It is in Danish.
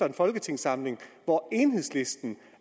en folketingssamling hvor enhedslisten